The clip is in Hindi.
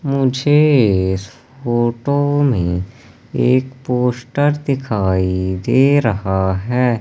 मुझे इस फोटो में एक पोस्टर दिखाई दे रहा है।